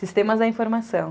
Sistemas da informação.